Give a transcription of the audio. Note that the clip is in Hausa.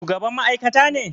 shugaban ma'aikata ne